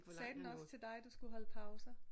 Sagde den også til dig du skulle holde pauser